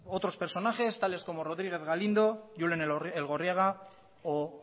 otros personajes tales como rodríguez galindo julen elgorriaga o